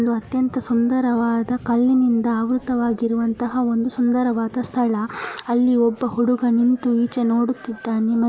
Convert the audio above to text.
ಒಂದು ಅತ್ಯಂತ ಸುಂದರವಾದ ಕಲ್ಲಿನಿಂದ ಆವೃತ್ತವಾಗಿರುವಂತಹ ಒಂದು ಸುಂದರವಾದ ಸ್ಥಳ ಅಲ್ಲಿ ಒಬ್ಬ ಹುಡುಗ ನಿಂತು ಈಚೆ ನೋಡುತ್ತಿದ್ದಾನೆ ಮತ್ತು --